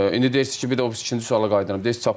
İndi deyirsiz ki, bir də o biri ikinci suala qayıdıram.